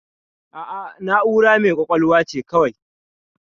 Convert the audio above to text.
A'a, na'ura mai ƙwaƙwalwa ce kawai.